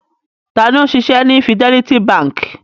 Ta ni ó ń ṣiṣẹ́ ní Fidelity Bank?